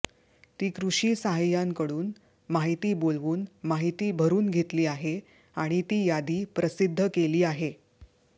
ती कृषी सहाय्यांनकडून माहिती बोलवून माहिती भरून घेतली आहे आणि ती यादी प्रसिद्ध केली आहे